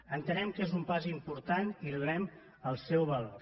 entenem que és un pas important i hi donem el seu valor